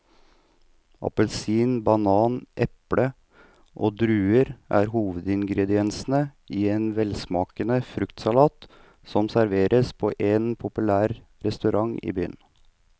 Appelsin, banan, eple og druer er hovedingredienser i en velsmakende fruktsalat som serveres på en populær restaurant i byen.